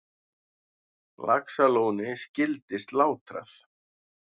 Laxalóni skyldi slátrað.